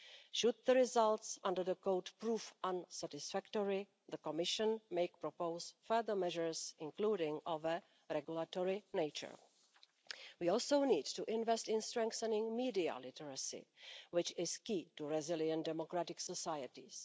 Should the results under the Code prove unsatisfactory, the Commission may propose further measures, including of a regulatory nature. We also need to invest in strengthening media literacy, which is key to resilient and democratic societies.